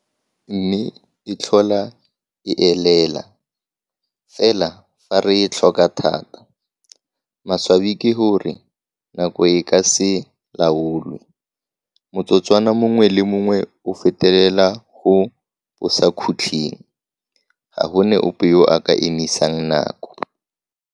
Mme, e tlhola e elela, fela fa re e tlhoka thata. Maswabi ke gore nako e ka se laolwe. Motsotswana mongwe le mongwe o fetelela go bosakhutleng. Ga go na ope yo a ka emisang nako.